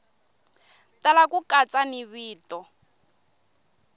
tala ku katsa ni vito